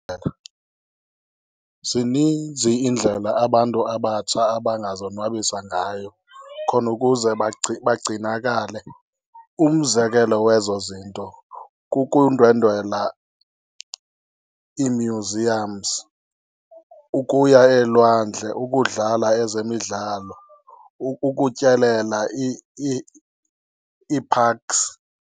Zininzi iindlela abantu abatsha abangazonwabisa ngayo khona ukuze bagcinakale. Umzekelo wezo zinto kukundwendwela iimyuziyamzi, ukuya elwandle, ukudlala ezemidlalo, ukutyelela ii-parks.